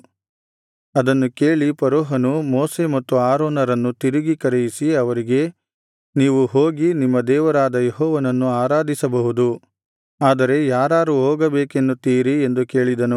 ಅದನ್ನು ಕೇಳಿ ಫರೋಹನು ಮೋಶೆ ಮತ್ತು ಆರೋನರನ್ನು ತಿರುಗಿ ಕರೆಯಿಸಿ ಅವರಿಗೆ ನೀವು ಹೋಗಿ ನಿಮ್ಮ ದೇವರಾದ ಯೆಹೋವನನ್ನು ಆರಾಧಿಸಬಹುದು ಆದರೆ ಯಾರಾರು ಹೋಗಬೇಕನ್ನುತ್ತೀರಿ ಎಂದು ಕೇಳಿದನು